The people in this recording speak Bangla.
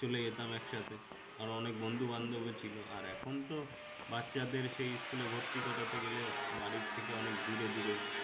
চলে যেতাম একসাথে আর অনেক বন্ধু-বান্ধব ও ছিল আর এখন তো বাচ্চাদের সেই school এ ভর্তি করাতে গেলে বাড়ি থেকে অনেক দূরে দূরে